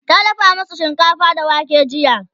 ta dafa masu shinkafa da wake jiya